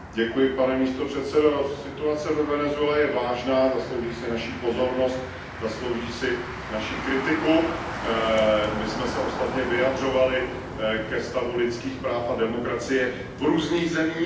Pane předsedající, situace ve Venezuele je vážná, zaslouží si naši pozornost, zaslouží si naši kritiku. My jsme se ostatně vyjadřovali ke stavu lidských práv a demokracie v různých zemích.